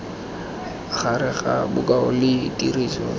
gare ga bokao le tiriso